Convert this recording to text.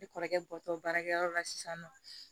Ne kɔrɔkɛ bɔtɔ baarakɛyɔrɔ la sisan nɔ